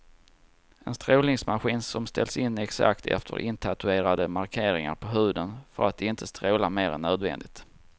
En strålningsmaskin som ställs in exakt efter intatuerade markeringar på huden för att inte stråla mer än nödvändigt.